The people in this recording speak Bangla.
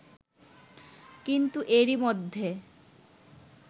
কিন্তু এরই মধ্যে